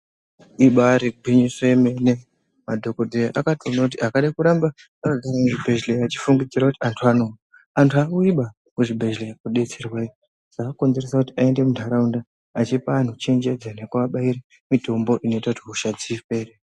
Imbayiri gwinyiso yemene madhokoteya akatoona kuti akade kuramba ari muzvibhedhleya achifungidzira kuti antu anouya antu awuyi baa kuzvibhedhlera iyoo kobetserwa chokonzeresa kuti aende mundaraunda achipa anhu chenjedzo nekuwabayira mutombo unoita kuti hosha dzipere.